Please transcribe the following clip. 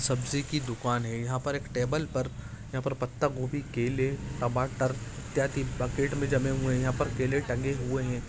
सब्जी की दुकान है यहां पर एक टेबल पर यहां पर पत्ता गोभी केले टमाटर इत्यादि बुकेट में जमे हुए यहां पर केले टांगे हुए हैं।